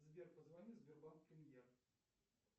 сбер позвони в сбербанк премьер